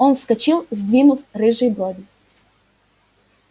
он вскочил сдвинув рыжие брови